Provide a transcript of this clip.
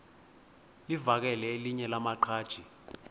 livakele elinye lamaqhaji